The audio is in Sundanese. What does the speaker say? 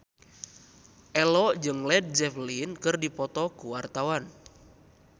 Ello jeung Led Zeppelin keur dipoto ku wartawan